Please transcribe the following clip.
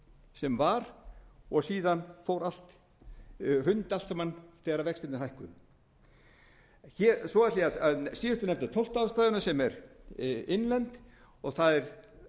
sem var og síðan hrundi allt saman þegar vextirnir hækkuðu svo ætla ég að síðustu að nefna tólftu ástæðuna sem er innlend og það er